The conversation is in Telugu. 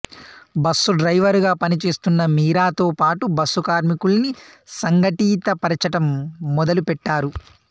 బస్సు డ్రైవరుగా పనిచేస్తున్న మీరాతో పాటు బస్సు కార్మికుల్ని సంఘటితపరచటం మొదలుపెట్టారు